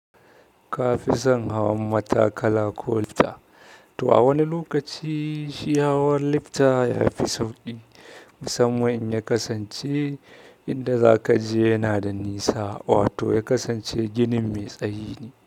Ka fi son hawan matakala ko lifter to a wani lokaci shi hawan lifter ya fi sauƙi, mussaman in ya kasance inda za ka je yana da nisa wato ya kaaance ginin me tsayi ne.